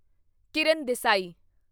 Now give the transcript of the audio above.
Kiran Desai